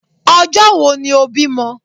Ọjọ́ wo ni o bímọ?